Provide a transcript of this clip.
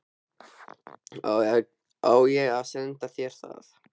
Á ég að senda þér það?